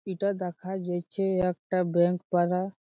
ইটা দেখা যাছে একটা ব্যাঙ্ক পারা।